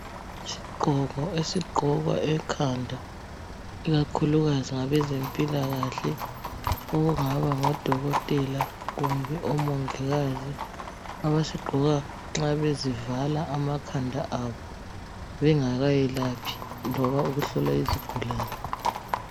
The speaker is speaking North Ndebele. Isigqoko esigqokwa ekhanda ikakhulukazi ngabezempilakahle okungaba ngodokotela kumbe omongikazi abasigqoka nxa bezivala amakhanda abo bengakayelaphi noma ukuhlola izigulane.